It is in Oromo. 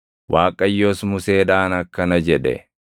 Waaqayyos Museedhaan akkana jedhe: